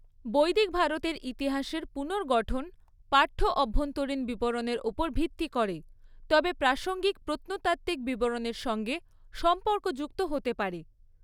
বৈদিক ভারতের ইতিহাসের পুনর্গঠন পাঠ্য অভ্যন্তরীণ বিবরণের ওপর ভিত্তি করে, তবে প্রাসঙ্গিক প্রত্নতাত্ত্বিক বিবরণের সঙ্গে সম্পর্কযুক্ত হতে পারে।